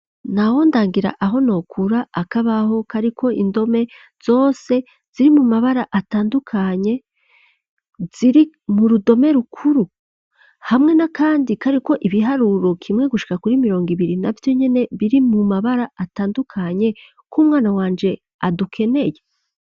Nta wondangira aho nokura akabaho kariko indome zose ziri mu mabara atandukanye, ziri mu rudome rukuru? hamwe na kandi kariko ibiharuro kimwe gushika kuri mirongo ibiri navyonyene biri mu mabara atandukanye k' umwana wanje adukeneye!